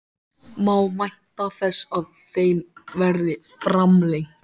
Má vænta þess að þeim verði framlengt?